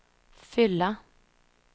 fylla